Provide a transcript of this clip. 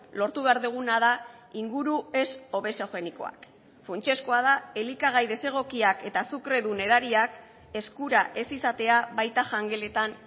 lortu behar duguna da inguru ez obesogenikoak funtsezkoa da elikagai desegokiak eta azukredun edariak eskura ez izatea baita jangeletan